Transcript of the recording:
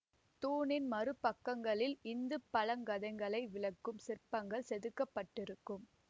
தூணின் மறு பக்கங்களில் இந்து பழங்கதைகளை விளக்கும் சிற்பங்கள் செதுக்கப்பட்டிருக்கும்